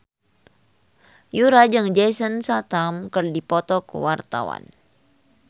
Yura jeung Jason Statham keur dipoto ku wartawan